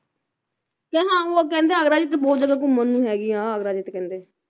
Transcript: ਤੇ ਹਾਂ ਉਹ ਕਹਿੰਦੇ ਆਗਰਾ ਦੇ ਵਿੱਚ ਬਹੁਤ ਜਗ੍ਹਾ ਘੁੰਮਣ ਨੂੰ ਹੈਗੀ ਆ ਆਗਰਾ ਵਿੱਚ ਕਹਿੰਦੇ